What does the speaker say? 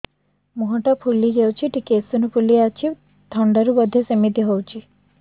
ମୁହଁ ଟା ଫୁଲି ଯାଉଛି ଟିକେ ଏଓସିନୋଫିଲିଆ ଅଛି ଥଣ୍ଡା ରୁ ବଧେ ସିମିତି ହଉଚି